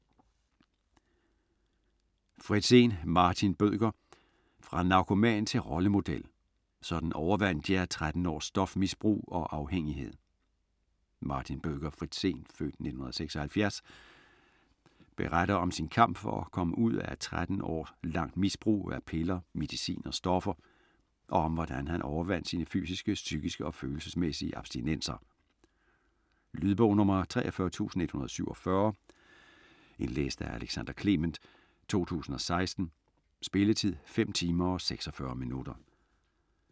Fritzen, Martin Bødker: Fra narkoman til rollemodel: sådan overvandt jeg 13 års stofmisbrug og afhængighed Martin Bødker Fritzen (f. 1976) beretter om sin kamp for at komme ud af et 13 år langt misbrug af piller, medicin og stoffer, og om hvordan han overvandt sine fysiske, psykiske og følelsesmæssige abstinenser. Lydbog 43147 Indlæst af Alexander Clement, 2016. Spilletid: 5 timer, 46 minutter.